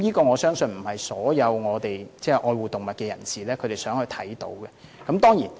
我相信這不是所有愛護動物人士都想看到的情況。